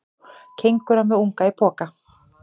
Kengúra með unga í poka.